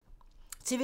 TV 2